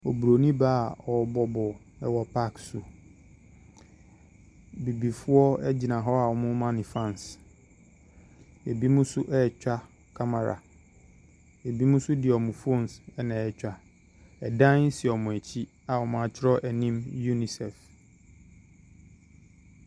Obroni baa ɔbɔ bɔɔl ɛwɔ pak so bibifoɔ egyina hɔ ɔmo ma no faas ebi nso etwa kamera ebinom nso ɛde ɔmo fons na etwa ɛdaan si ɔmo ekyi a ɔmo akyerɛw enim unisɛf.